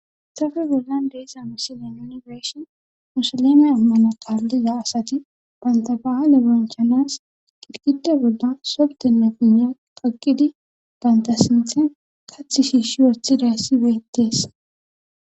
hayssappe bollan de7iza misileza nuni be7ishin musilime ammano kaliza asati bantta bahile bonchanas gigiti eqqidosona entta sinthankka kathaynne ushay bettees